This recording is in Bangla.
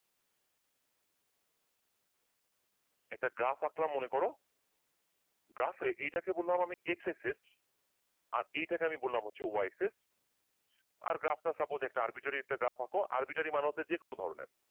একটা graph আঁকলাম মনে করো graph এ এটাকে বললাম আমি xxx আর এইটা কে বললাম আমি yxx আর graph টা suppose একটা r bittery একটা graph আঁক r bittery মানে হচ্ছে যে কোন ধরণের।